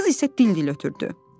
Qız isə dil-dil ötürdü: